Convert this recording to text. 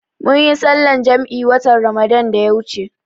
Munyi sallar jam'i watan Ramadan da ya wuce